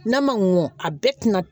N'a ma mɔ a bɛɛ tɛna